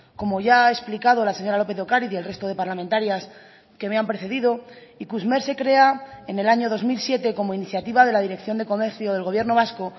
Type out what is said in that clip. como ya ha explicado la señora lópez de ocariz y el resto de parlamentarias que me han precedido ikusmer se crea en el año dos mil siete como iniciativa de la dirección de comercio del gobierno vasco